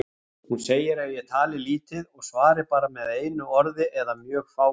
Hún segir að ég tali lítið og svari bara með einu orði eða mjög fáum.